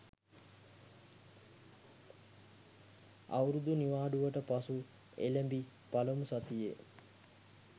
අවුරුදු නිවාඩුවට පසු එළැඹි පළමු සතියේ